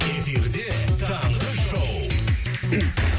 эфирде таңғы шоу